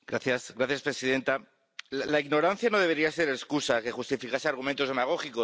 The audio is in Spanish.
Señora presidenta, la ignorancia no debería ser excusa que justificase argumentos demagógicos.